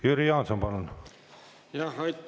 Jüri Jaanson, palun!